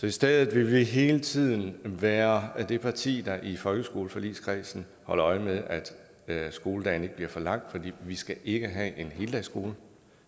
i stedet vil vi hele tiden være det parti der i folkeskoleforligskredsen holder øje med at skoledagen ikke bliver for lang vi skal ikke have en heldagsskole